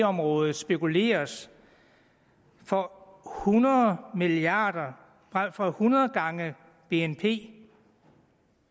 området spekuleres for hundrede milliarder for hundrede gange bnp